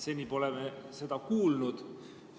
Seni pole me seda kuulnud.